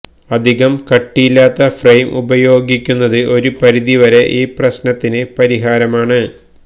അധികം കട്ടിയില്ലാത്ത ഫ്രെയിം ഉപയോഗിയ്ക്കുന്നത് ഒരു പരിധി വരെ ഈ പ്രശ്നത്തിന് പരിഹാരമാണ്